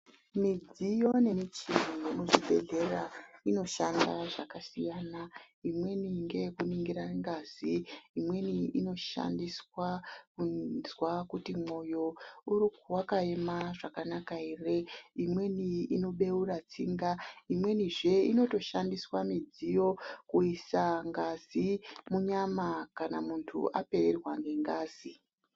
Midziyo nemichini yemuzvibhedleya inoshanda zvakasiyana ,imweni ndeyekuningirira ngazi ,imweni inoshandiswa kuzwa kuti moyo waka mima zvakanaka here, imweni inobheura tsinga, imweni zve inotoshandiswa midziyo kuisa ngazi munyama kana muntu wapererwa nengazi.